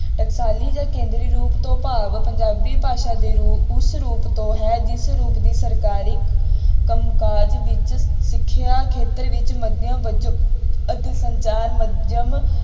ਟਕਾਸਾਲੀ ਜਾਂ ਕੇਂਦਰੀ ਰੂਪ ਤੋਂ ਭਾਵ ਪੰਜਾਬੀ ਭਾਸ਼ਾ ਦੇ ਰੂ~ ਉਸ ਰੂਪ ਤੋਂ ਹੈ ਜਿਸ ਰੂਪ ਦੀ ਸਰਕਾਰੀ ਕੰਮਕਾਜ ਵਿੱਚ ਸਿੱਖਿਆ ਖੇਤਰ ਵਿੱਚ ਮਾਧਿਅਮ ਵਜੋਂ ਅਤੇ ਸੰਚਾਰ ਮਾਧਿਅਮ